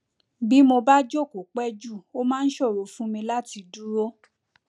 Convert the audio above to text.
bí mo bá jókòó pẹ jù ó máa ń ṣòro fún mi láti dúró